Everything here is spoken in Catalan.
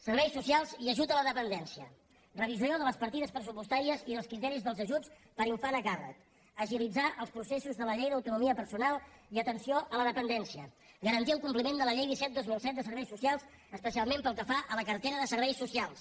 serveis socials i ajut a la dependència revisió de les partides pressupostàries i dels criteris dels ajuts per infant a càrrec agilitzar els processos de la llei d’autonomia personal i atenció a la dependència garantir el compliment de la llei disset dos mil set de serveis socials especialment pel que fa a la cartera de serveis socials